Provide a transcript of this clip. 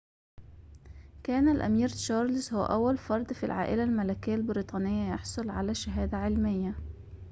كان الأمير تشارلز هو أول فردٍ في العائلة الملكية البريطانية يحصل على شهادة علمية